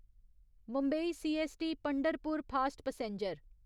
Mumbai CST Pandharpur fast passenger